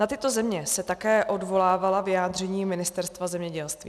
Na tyto země se také odvolávala vyjádření Ministerstva zemědělství.